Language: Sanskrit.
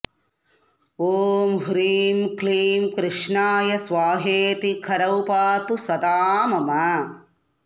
ॐ ह्रीं क्लीं कृष्णाय स्वाहेति करौ पातु सदा मम